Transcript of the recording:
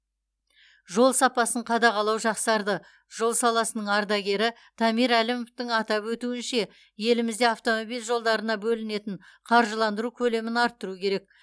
жол сапасын қадағалау жақсарды жол саласының ардагері дамир әлімовтың атап өтуінше елімізде автомобиль жолдарына бөлінетін қаржыландыру көлемін арттыру керек